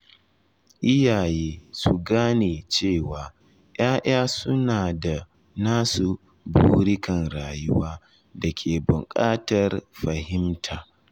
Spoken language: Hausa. Iyaye su gane cewa ’ya’ya suna da nasu burikan rayuwa da ke buƙatar fahimta.